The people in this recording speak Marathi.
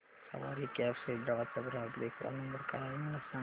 सवारी कॅब्स हैदराबाद चा ग्राहक देखभाल नंबर काय आहे मला सांगाना